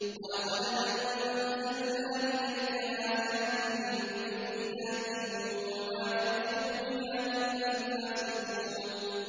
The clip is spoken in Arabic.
وَلَقَدْ أَنزَلْنَا إِلَيْكَ آيَاتٍ بَيِّنَاتٍ ۖ وَمَا يَكْفُرُ بِهَا إِلَّا الْفَاسِقُونَ